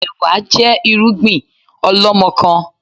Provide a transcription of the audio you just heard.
Ẹ̀wá jẹ́ irúgbìn ọlọmọkan